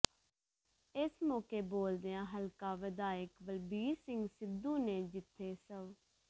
ਇਸ ਮੌਕੇ ਬੋਲਦਿਆਂ ਹਲਕਾ ਵਿਧਾਇਕ ਬਲਬੀਰ ਸਿੰਘ ਸਿੱਧੂ ਨੇ ਜਿਥੇ ਸਵ